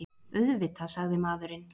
Auðvitað, sagði maðurinn.